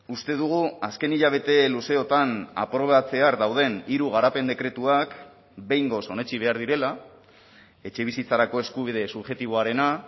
uste dugu azken hilabete luzeotan aprobatzear dauden hiru garapen dekretuak behingoz onetsi behar direla etxebizitzarako eskubide subjektiboarena